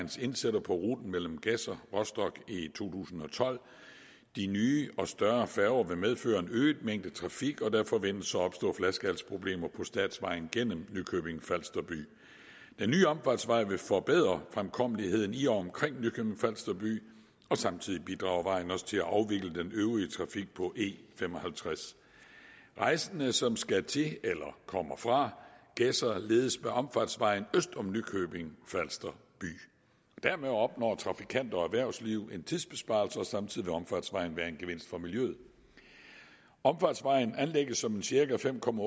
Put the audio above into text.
indsætter på ruten mellem gedser og rostock i tusind og tolv de nye og større færger vil medføre en øget mængde trafik og der forventes at opstå flaskehalsproblemer på statsvejen gennem nykøbing falster by den nye omfartsvej vil forbedre fremkommeligheden i og omkring nykøbing falster by og samtidig bidrager vejen også til at afvikle den øvrige trafik på e fem og halvtreds rejsende som skal til eller kommer fra gedser ledes med omfartsvejen øst om nykøbing falster by dermed opnår trafikanter og erhvervsliv en tidsbesparelse og samtidig vil omfartsvejen være en gevinst for miljøet omfartsvejen anlægges som en cirka fem km